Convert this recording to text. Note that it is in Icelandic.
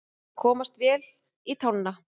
Að komast vel í tána